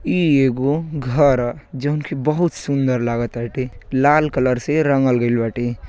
ई एगो घर ह। जोवन की बहुत सुंदर लागताते। लाल कलर से रंगल गइल बाटे।